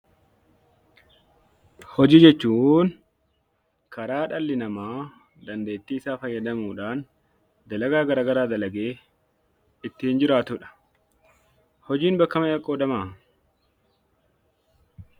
Hojii jechuun karaa dhalli namaa dandeettiisaa fayyadamuudhaan dalagaa garagaraa dalagee ittiin jiraatudha. Hojiin bakka meeqatti qoodamaa?